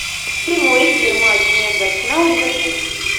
прямой эфир матч между арсенал и ливерпуль